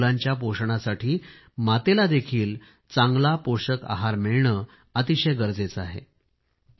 लहान मुलांच्या पोषणासाठी मातेलाही चांगला पोषक आहार मिळणे अतिशय गरजेचे आहे